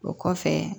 O kɔfɛ